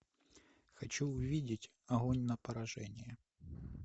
хочу увидеть огонь на поражение